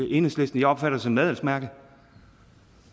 enhedslisten jeg opfatter det som et adelsmærke